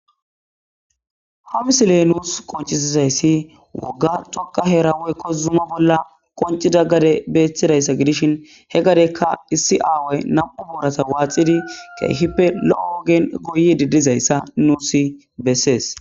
hamisiley nuus qonchisizayssi wogga tokka he rawoy kozuma bolla qoncida gade beeththidayssa gidishin he gadekka issi aaway nam7u boorasa waaxidi keehippe lo7o ogen goyi didizayssa nuusi bessees